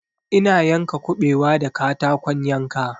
Ina yanka kuɓewa da katakon yanka